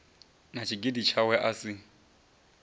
na tshigidi tshawe a si